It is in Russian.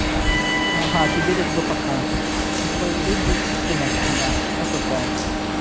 ага а тебе лишь бы пока лишь бы слинять от меня осуждаю